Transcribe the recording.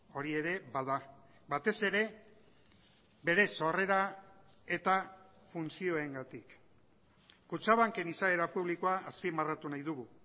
hori ere bada batez ere bere sorrera eta funtzioengatik kutxabanken izaera publikoa azpimarratu nahi dugu